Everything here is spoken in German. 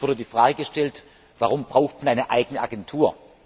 Es wurde die Frage gestellt Warum braucht man eine eigene Agentur?